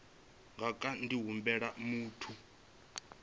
nga kha ḓi humbela muthu